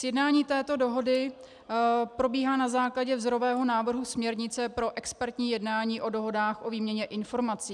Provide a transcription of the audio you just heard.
Sjednání této dohody probíhá na základě vzorového návrhu směrnice pro expertní jednání o dohodách o výměně informací.